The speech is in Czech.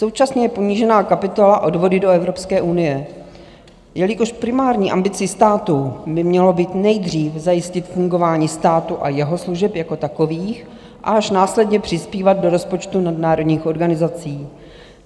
Současně je snížena kapitola Odvody do Evropské unie, jelikož primární ambicí státu by mělo být nejdříve zajistit fungování státu a jeho služeb jako takových a až následně přispívat do rozpočtu nadnárodních organizací.